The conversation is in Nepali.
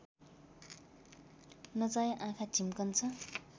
नचाहे आँखा झिम्कन्छ